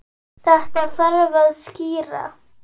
Þetta þarf að skýra.